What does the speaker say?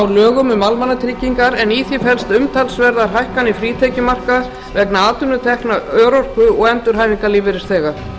lögum um almannatryggingar en í því felast umtalsverðar hækkanir frítekjumarka vegna atvinnutekna örorku og endurhæfingarlífeyrisþega